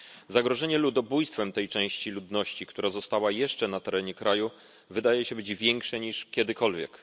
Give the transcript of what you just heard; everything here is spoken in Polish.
Zagrożenie ludobójstwem tej części ludności, która została jeszcze na terenie kraju, wydaje się być większe niż kiedykolwiek.